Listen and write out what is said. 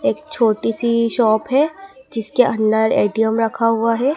एक छोटी सी शॉप है जिसके अंडर ए_टी_एम रखा हुआ है।